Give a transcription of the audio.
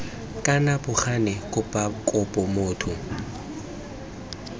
kana bo gane kopo motho